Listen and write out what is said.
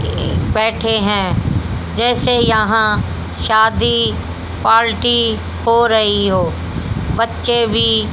बैठे हैं जैसे यहां शादी पार्टी हो रही हो बच्चे भी --